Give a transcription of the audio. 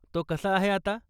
तो कसा आहे आता ?